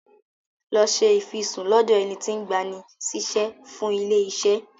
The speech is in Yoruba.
Lọ ṣe ìfisùn lọ́dọ̀ ẹni tí ń gbani síṣẹ́ fún ilé-iṣẹ́.